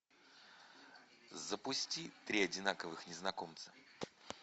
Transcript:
запусти три одинаковых незнакомца